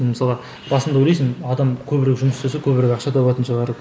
мысалға басында ойлайсың адам көбірек жұмыс істесе көбірек ақша табатын шығар